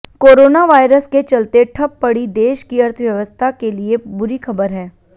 corona virus के चलते ठप पड़ी देश की अर्थव्यवस्था के लिए बुरी खबर है